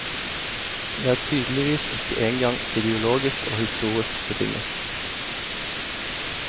De er tydeligvis ikke engang ideologisk og historisk betinget.